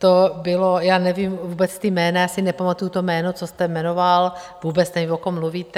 To bylo, já nevím vůbec ta jména, já si nepamatuji to jméno, co jste jmenoval, vůbec nevím, o kom mluvíte.